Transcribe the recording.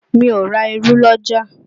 Mi ò ra irú l'ọ́jà